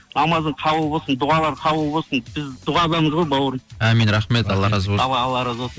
намазың қабыл болсын дұғалар қабыл болсын біз дұғадамыз ғой бауырым амин рахмет алла разы болсын давай алла разы болсын